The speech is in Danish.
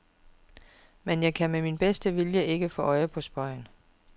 Men jeg kan med min bedste vilje ikke få øje på spøgen.